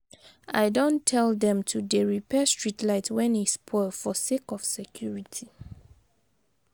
I don tel dem to dey repair street light wen e spoil for sake of security.